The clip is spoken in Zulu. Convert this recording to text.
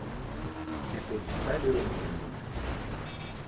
sigodi saleyo nduna